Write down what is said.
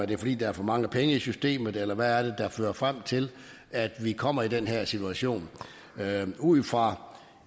det er fordi der er for mange penge i systemet eller hvad det der fører frem til at vi kommer i den her situation ud fra